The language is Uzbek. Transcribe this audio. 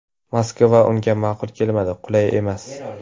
Moskva unga ma’qul kelmadi: qulay emas.